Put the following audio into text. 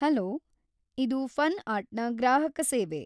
Hello, ಇದು fun ಆರ್ಟ್‌ನ ಗ್ರಾಹಕ ಸೇವೆ.